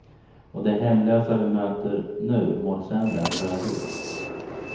Och de hemlösa vi möter nu mår sämre än förut.